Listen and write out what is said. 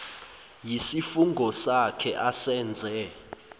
yisifungo sakhe asenze